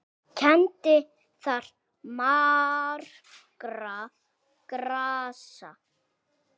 Kenndi þar margra grasa.